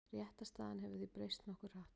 Réttarstaðan hefur því breyst nokkuð hratt.